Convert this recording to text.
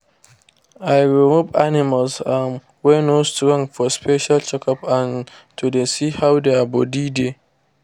i remove animals um wey no strong for special check-up and to dey see how their body dey.